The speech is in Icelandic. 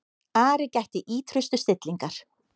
Ari gætti ýtrustu stillingar.